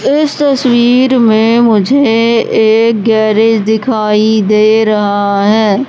इस तस्वीर में मुझे एक गैरेज दिखाई दे रहा है।